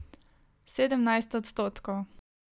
Sedemnajst odstotkov.